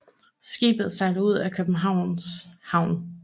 Skibet sejler ud af Københavns Havn